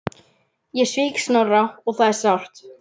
Ég svík Snorra og það er sárt.